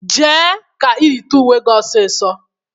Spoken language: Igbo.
Jee ka ị yite uwe gị ọsịsọ!